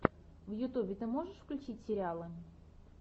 в ютьюбе ты можешь включить сериалы